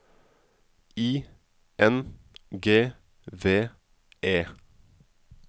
I N G V E